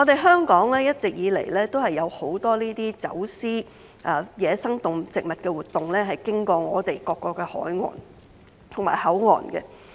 香港一直以來都有很多走私野生動植物活動，經由各個海岸和口岸進行。